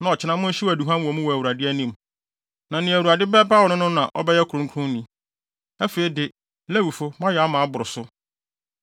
na ɔkyena monhyew aduhuam wɔ mu wɔ Awurade anim. Na nea Awurade bɛpaw no no na ɔbɛyɛ ɔkronkronni. Afei de, Lewifo moayɛ ama aboro so!”